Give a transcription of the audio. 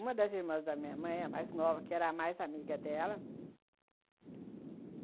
Uma das irmãs da minha mãe, a mais nova, que era a mais amiga dela.